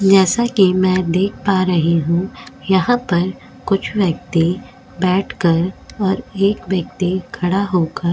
जैसा कि मैं देख पा रही हूं यहां पर कुछ व्यक्ति बैठकर और एक व्यक्ति खड़ा होकर --